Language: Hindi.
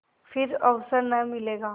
फिर अवसर न मिलेगा